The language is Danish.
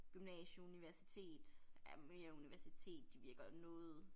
Gymnasie universitet ja mere universitet de virker noget